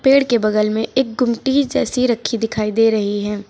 पेड़ के बगल में एक गुमटी जैसी रखी दिखाई दे रही है।